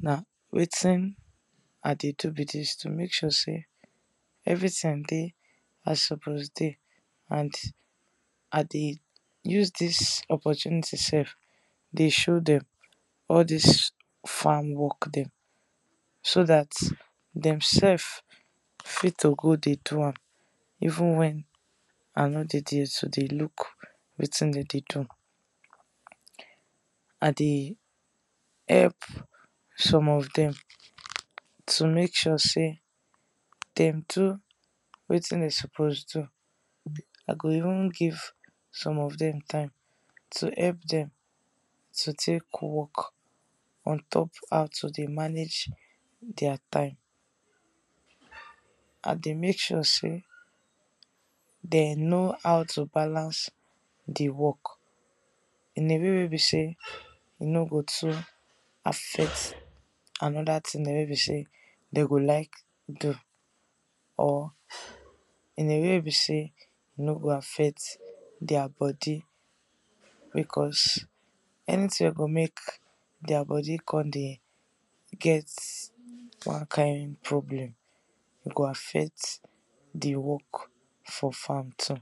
Na wetin I dey do be dis to make sure everything dey as e suppose dey and I dey use dis opportunity sef to show dem all dis farm work so dat dem sef fit to go dey do am, even wen I no dey d ey to dey look wetin dem dey do. I dey help some of dem to make sure sey dem do wetin dem suppose do, I go even give some of dem time to help dem to take work, on top how to dey manage their time. I dey make sure sey dem know how to balance di work in a way wey be sey e no go too affect another thing dem wey be sey dem go like do or in a way wey be sey e no go affect their body because anything wey go make their body come dey get one kind problem e go affect di work for farm too.